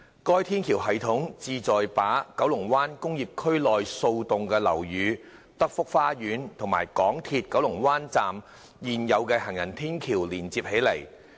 該天橋系統旨在把九龍灣工業區內數座樓宇、德福花園和港鐵九龍灣站的現有行人天橋連接起來。